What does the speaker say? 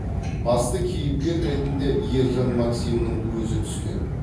басты кейіпкер ретінде ержан максимнің өзі түскен